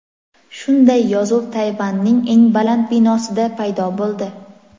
Shunday yozuv Tayvanning eng baland binosida paydo bo‘ldi.